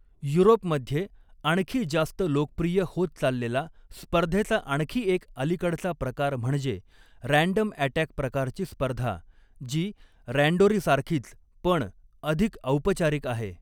युरोपमध्ये आणखी जास्त लोकप्रिय होत चाललेला स्पर्धेचा आणखी एक अलिकडचा प्रकार म्हणजे 'रँडम अटॅक' प्रकारची स्पर्धा, जी 'रँडोरी' सारखीच पण अधिक औपचारिक आहे.